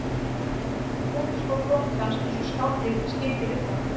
Gúmmískór bóndans eins og skáldið skildi við þá